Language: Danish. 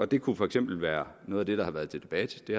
det kunne for eksempel være noget af det der har været til debat det